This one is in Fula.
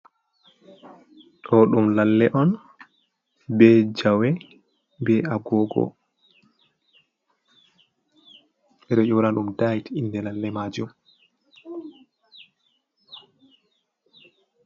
Ɗo ɗum lalle on be jawe, be agogo, ɓeɗo yona ɗum dayt inde lalle majum.